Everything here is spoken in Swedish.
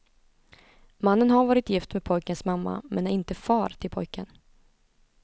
Mannen har varit gift med pojkens mamma, men är inte far till pojken.